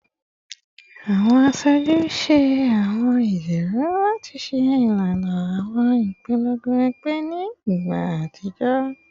Awọn aṣoju ṣe awọn ijiroro lati ṣe ilana awọn ipolongo ẹgbẹ ni igba atijọ